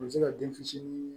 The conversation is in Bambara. U bɛ se ka den fitinin